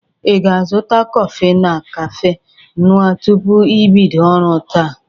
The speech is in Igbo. Ị ga-azụta kọfị na kafe ñụa tupu i bido ọrụ taa?